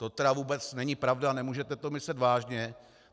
To tedy vůbec není pravda, nemůžete to myslet vážně.